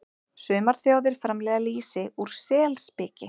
Sumar þjóðir framleiða lýsi úr selspiki.